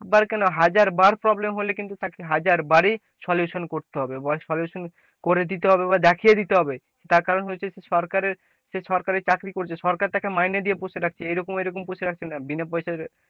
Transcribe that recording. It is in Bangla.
বার কেন হাজারবার problem হলে কিন্তু হাজার বারি solution করতে হবে, বা solution করে দিতে হবে বা দেখিয়ে দিতে হবে তার কারণ হচ্ছে যে সরকারের সে সরকারের চাকরি করছে সরকার তাকে মাইনে দেখে পৌছে রাখছে এমনি বিনা পয়সায়,